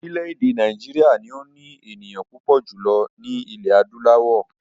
Orílẹ̀èdè Nàìjíríà ni ó ní ènìyàn púpọ̀ jùlọ ní ilẹ̀ adúláwọ̀